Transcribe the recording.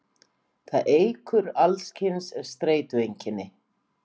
það eykur alls kyns streitueinkenni